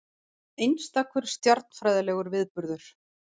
Einstakur stjarnfræðilegur viðburður